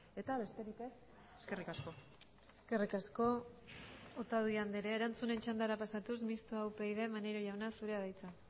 eta besterik ez eskerrik asko eskerrik asko otadui andrea erantzunen txandara pasatuz mistoa upyd maneiro jauna zurea da hitza